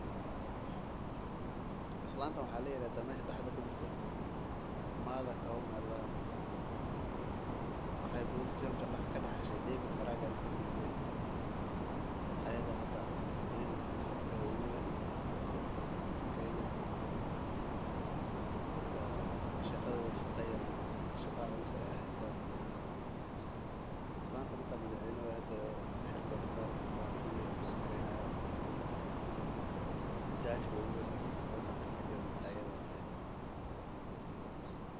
Islantan waxaa kadahaa mada kaume waxeey daxashe David maraga shaqdeeda mid yar maaha shaqa culus waye xitaa madax weynaha shaqada weey kasaari kartaa garsooraha ugu weyn dalka ayada waye.